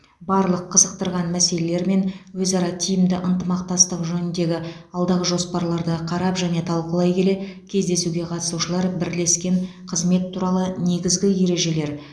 барлық қызықтырған мәселелер мен өзара тиімді ынтымақтастық жөніндегі алдағы жоспарларды қарап және талқылай келе кездесуге қатысушылар бірлескен қызмет туралы негізгі ережелер